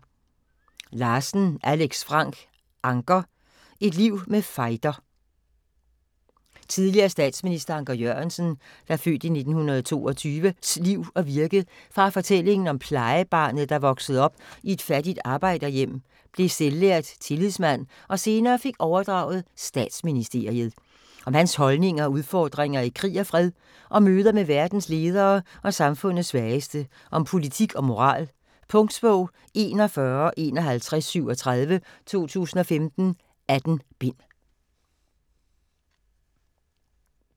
Larsen, Alex Frank: Anker: et liv med fejder Tidligere statsminister Anker Jørgensens (f. 1922) liv og virke fra fortællingen om plejebarnet, der voksede op i et fattigt arbejderhjem, blev selvlært tillidsmand og senere fik overdraget statsministeriet. Om hans holdninger og udfordringer i krig og fred, om møder med verdens ledere og samfundets svageste, om politik og moral. Punktbog 415137 2015. 18 bind.